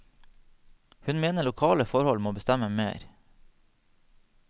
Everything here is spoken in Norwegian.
Hun mener lokale forhold må bestemme mer.